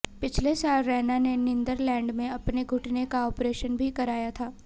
पिछले साल रैना ने नीदरलैंड में अपने घुटने का ऑपरेशन भी कराया था